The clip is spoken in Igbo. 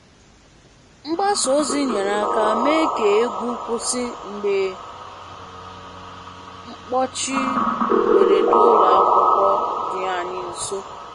Mgbasa ozi nyere aka mee ka egwu kwụsị mgbe mkpọchi mberede ụlọ akwụkwọ dị anyị nso.